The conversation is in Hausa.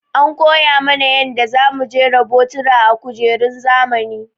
An koya mana yanda za mu jera botura a kujerun zamani.